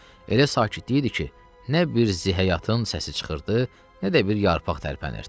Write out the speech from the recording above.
Elə sakitlik idi ki, nə bir zəh həyatın səsi çıxırdı, nə də bir yarpaq tərpənirdi.